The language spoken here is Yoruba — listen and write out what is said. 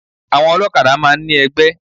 Àwọn olókadá máa n ní egbé